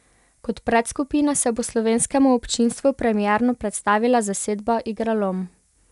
Kot predskupina se bo slovenskemu občinstvu premierno predstavila zasedba Igralom.